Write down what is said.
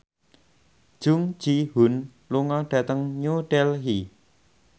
Jung Ji Hoon lunga dhateng New Delhi